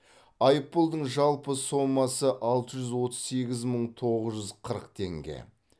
айыппұлдың жалпы сомасы алты жүз отыз сегіз мың тоғыз жүз қырық теңге